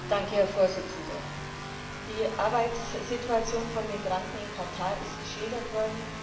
Herr Präsident! Die Arbeitssituation von Migranten in Katar ist geschildert worden.